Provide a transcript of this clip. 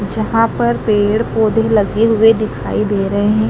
जहां पर पेड़ पौधे लगे हुए दिखाई दे रहे हैं।